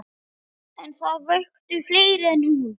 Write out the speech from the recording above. En það vöktu fleiri en hún.